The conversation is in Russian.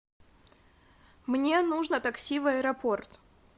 мне нужно такси в аэропорт